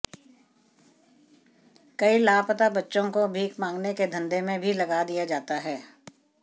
कई लापता बच्चों को भिख मांगने के धंधे में भी लगा दिया जाता है